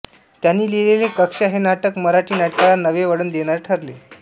त्यांनी लिहिलेले कक्षा हे नाटक मराठी नाटकाला नवे वळण देणारे ठरले